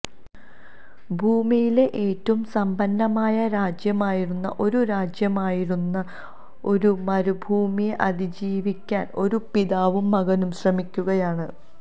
ഭൂമിയിലെ ഏറ്റവും സമ്പന്നമായ രാജ്യമായിരുന്ന ഒരു രാജ്യമായിരുന്ന ഒരു മരുഭൂമിയെ അതിജീവിക്കാൻ ഒരു പിതാവും മകനും ശ്രമിക്കുകയാണ്